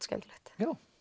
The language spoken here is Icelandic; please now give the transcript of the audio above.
skemmtilegt